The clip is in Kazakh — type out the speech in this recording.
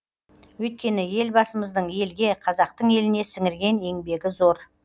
өйткені елбасымыздың елге қазақтың еліне сіңірген